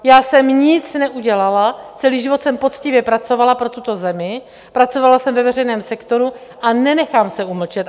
Já jsem nic neudělala, celý život jsem poctivě pracovala pro tuto zemi, pracovala jsem ve veřejném sektoru a nenechám se umlčet.